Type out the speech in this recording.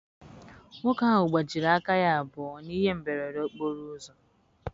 Nwoke ahụ gbajiri aka ya abụọ na ihe mberede okporo ụzọ.